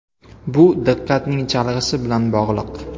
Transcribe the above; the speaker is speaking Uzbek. Bu diqqatning chalg‘ishi bilan bog‘liq.